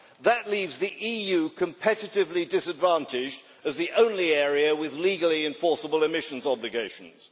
That leaves the EU competitively disadvantaged as the only area with legally enforceable emissions obligations.